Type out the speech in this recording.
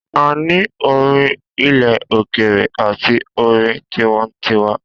A ni orin ilẹ òkèèrè àti orin tinwantiwa